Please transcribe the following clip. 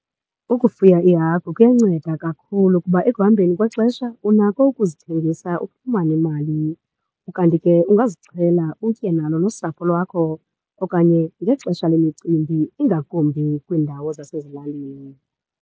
Ukufuya iihagu kuyanceda kakhulu kuba ekuhambeni kwexesha unako ukuzithengisa ufumane imali. Ukanti ke ungazixhela utye nalo nosapho lwakho okanye ngexesha lemicimbi, ingakumbi kwiindawo zasezilalini.